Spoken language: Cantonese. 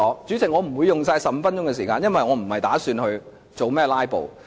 主席，我不會盡用15分鐘發言時間，因為我不打算"拉布"。